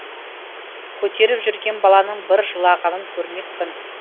көтеріп жүрген баланың бір жылағанын көрмеппін